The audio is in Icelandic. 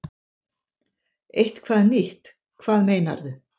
Eitthvað nýtt, hvað meinarðu?